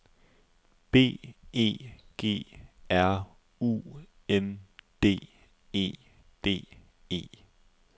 B E G R U N D E D E